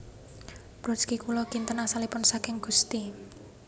Brodsky Kula kinten asalipun saking Gusti